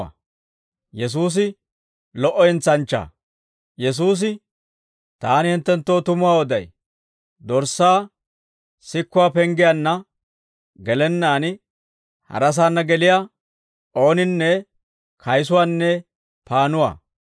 Yesuusi, «Taani hinttenttoo tumuwaa oday; dorssaa sikuwaa penggiyaanna gelennaan harasaanna geliyaa ooninne kaysuwaanne paannuwaa.